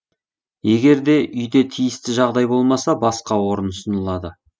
егер де үйде тиісті жағдай болмаса басқа орын ұсынылады